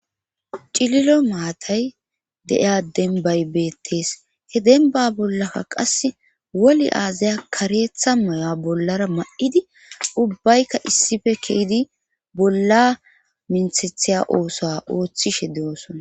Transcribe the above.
cililo maatay de7iya denbay beettes he denba bollakka qas woli aazaya kareetha moya bollara ma7idi ubbaykka issife kehydi bolla minthethiya oosa ooththishe de7osona